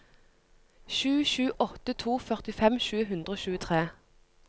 sju sju åtte to førtifem sju hundre og tjuetre